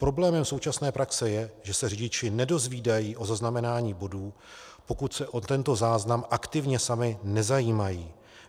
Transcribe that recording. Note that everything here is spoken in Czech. Problémem současné praxe je, že se řidiči nedozvídají o zaznamenání bodů, pokud se o tento záznam aktivně sami nezajímají.